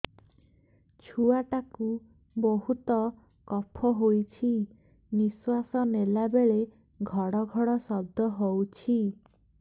ଛୁଆ ଟା କୁ ବହୁତ କଫ ହୋଇଛି ନିଶ୍ୱାସ ନେଲା ବେଳେ ଘଡ ଘଡ ଶବ୍ଦ ହଉଛି